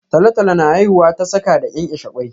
Talotalo na haihuwa ta saka da kenkeshe ƙwoi